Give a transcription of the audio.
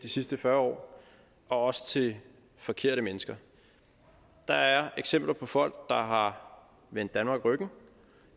de sidste fyrre år og også til de forkerte mennesker der er eksempler på folk der har vendt danmark ryggen